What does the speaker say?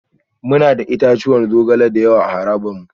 Muna da itatuwan zogale da yawa a harabar mu